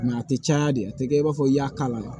a tɛ caya de a tɛ kɛ i b'a fɔ i y'a kala